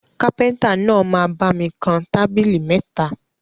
Kápẹ́ntà náà máa bami kan tábìlì mẹ́ta